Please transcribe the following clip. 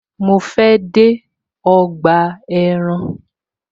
Mo fe de ọgbà ẹran